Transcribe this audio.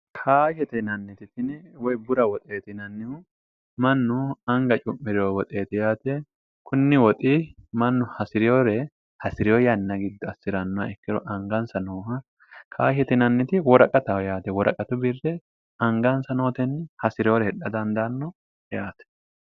kaashetinannititini woy bura woxeetinannihu mannu anga cu'miriho woxeeti yaate kunni woxi mannu hasi'reyore hasi'riyo yanna gidda assi'rannoha ikkiro angansa nooha kaashe tinanniti woraqataho yaate woraqatu birre angansa nootenni hasi'reyore hidha dandaanno yaate